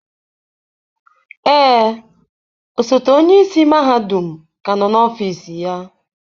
Ee, osote onye isi mahadum ka nọ n'ọfịs ya.